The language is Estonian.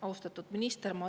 Austatud minister!